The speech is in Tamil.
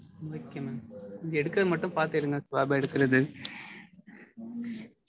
okay mam. எடுக்கறது மட்டும் பாத்து எடுங்க swab அ எடுக்கறது.